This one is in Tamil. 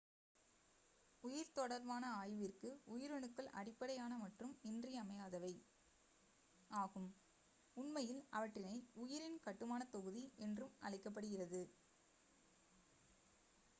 "உயிர் தொடர்பான ஆய்விற்கு உயிரணுக்கள் அடிப்படையான மற்றும் இன்றியமையாதவை ஆகும் உண்மையில் அவற்றினை உயிரின் கட்டுமானத் தொகுதி' என்றும் அழைக்கப்படுகிறது.